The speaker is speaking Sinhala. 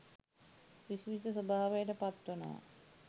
විස්මිත ස්වභාවයට පත්වනවා.